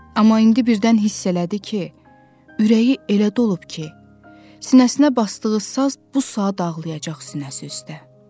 Amma indi birdən hiss elədi ki, ürəyi elə dolub ki, sinəsinə basdığı saz bu saat dağlayacaq sinəsi üstdə.